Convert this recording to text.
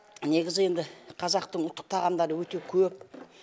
негізі енді қазақтың ұлттық тағамдары өте көп